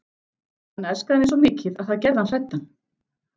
Hann elskaði mig svo mikið að það gerði hann hræddan.